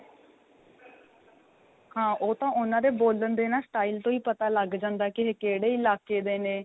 ਹਾਂ ਉਹ ਤਾਂ ਉਨ੍ਹਾਂ ਦੇ ਬੋਲਣ ਦੇ ਨਾਂ style ਤੋ ਹੀ ਪਤਾ ਲੱਗ ਜਾਂਦਾ ਕੇ ਇਹ ਕਿਹੜੇ ਇਲਾਕੇ ਦੇ ਨੇ